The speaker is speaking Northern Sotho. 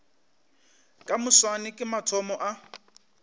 ka moswane ke mathomo a